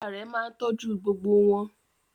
Bàbá rẹ̀ máa ń tọ́jú gbogbo wọn.